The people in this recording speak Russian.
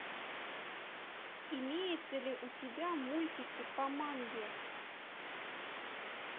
имеется ли у тебя мультики по манге